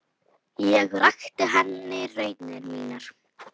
Ég rakti henni raunir mínar.